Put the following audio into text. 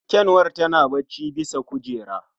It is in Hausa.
Ƙyanwar tana bacci bisa kujera.